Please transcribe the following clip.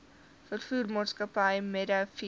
veevoermaatskappy meadow feeds